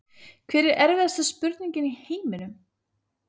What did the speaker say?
Hver er erfiðasta spurningin í heiminum?